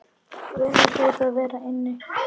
Guðni hlaut að vera inni.